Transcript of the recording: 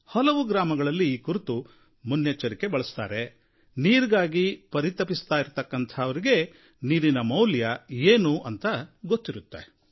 ಹಲವು ಗ್ರಾಮಗಳಲ್ಲಿ ಈ ಕುರಿತು ಮುನ್ನೆಚ್ಚರಿಕೆ ವಹಿಸುತ್ತಾರೆ ನೀರಿಗಾಗಿ ಪರಿತಪಿಸೋರಿಗೆ ನೀರಿನ ಮೌಲ್ಯ ಏನು ಅಂತ ಗೊತ್ತಿರುತ್ತೆ